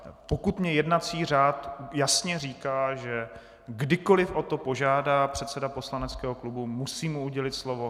Pokud mi jednací řád jasně říká, že kdykoli o to požádá předseda poslaneckého klubu, musím mu udělit slovo.